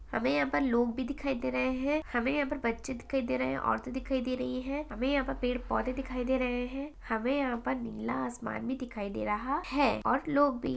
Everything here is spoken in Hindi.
हमें यहाँ पर लोग भी दिखाई दे रहे हैं हमें यहाँ पर बच्चे दिखाई दे रहे हैं औरतें दिखाई दे रही हैं हमें यहाँ पर पेड़ पौधे दिखाई दे रहे हैं हमे यहाँ पर नीला आसमान भी दिखाई दे रहा है और लोग भी --